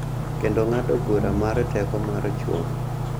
Kendo ng�ado bura mar teko mar chwo.